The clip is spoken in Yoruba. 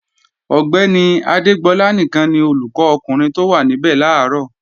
Ọ̀gbẹ́ni Adégbọlá nìkan ni olùkọ́ ọkùnrin tó wá níbẹ̀ làárọ̀